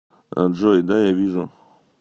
джой да я вижу